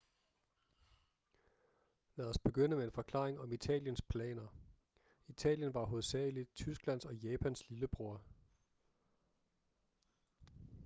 lad os begynde med en forklaring om italiens planer italien var hovedsageligt tysklands og japans lillebror